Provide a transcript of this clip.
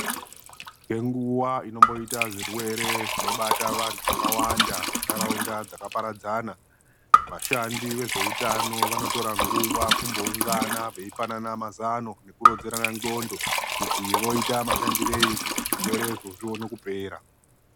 Kune nguva inomboita zvirwere zvinobata vantu vakawanda mundaraunda dzakaparadzana. Vashandi vezvehutano vanotora nguva kumboungana veipanana mazano ekuronzerana ndxondo kuti vaite mashandirei kuti zvirwerezvo zvione kupera.